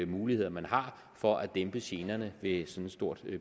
muligheder man har for at dæmpe generne ved sådan et stort